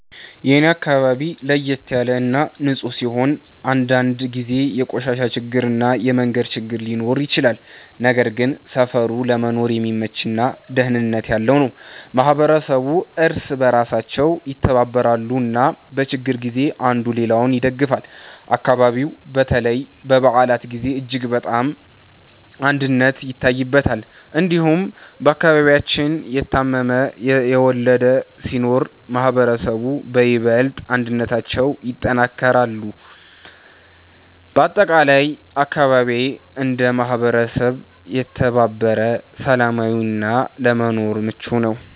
የኔ አካባቢ ለየት ያለ እና ንፁህ ሲሆን፣ አንዳንድ ጊዜ የቆሻሻ ችግር እና የመንገድ ችግር ሊኖር ይችላል። ነገር ግን ሰፈሩ ለመኖር የሚመች እና ደህንነት ያለው ነው። ማህበረሰቡ እርስ በእርሳቸው ይተባበራሉ እና በችግር ጊዜ አንዱ ሌላውን ይደግፋል። አካባቢው በተለይ በበዓላት ጊዜ እጅግ በጣም አንድነት ይታይበታል። እንዲሁም በአከባቢያችን የታመመ፣ የወለደ ሲኖር ማህበረሰቡ በይበልጥ አንድነታቸውን ያጠናክራሉ። በአጠቃላይ አካባቢዬ እንደ ማህበረሰብ የተባበረ፣ ሰላማዊ እና ለመኖር ምቹ ነው።